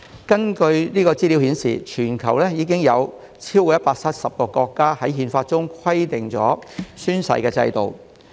根據資料顯示，全球已有超過170個國家的憲法規定了宣誓制度。